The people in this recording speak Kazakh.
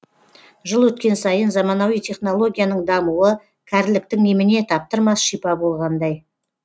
жыл өткен сайын заманауи технологияның дамуы кәріліктің еміне таптырмас шипа болғандай